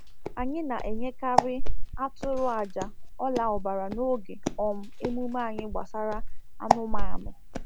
Anyị na-eyekarị atụrụ àjà ọla ọbara n’oge um emume anyị gbasara anụmanụ